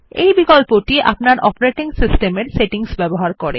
এই বিকল্পটি আপনার অপারেটিং সিস্টেমের সেটিংস ব্যবহার করে